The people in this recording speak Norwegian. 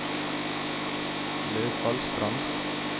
Løfallstrand